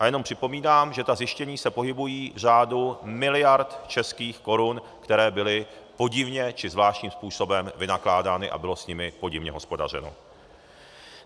A jenom připomínám, že ta zjištění se pohybují v řádu miliard českých korun, které byly podivně či zvláštním způsobem vynakládány a bylo s nimi podivně hospodařeno.